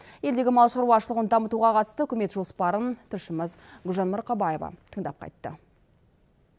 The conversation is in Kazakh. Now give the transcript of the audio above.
елдегі мал шаруашылығын дамытуға қатысты үкімет жоспарын тілшіміз гүлжан марқабаева тыңдап қайтты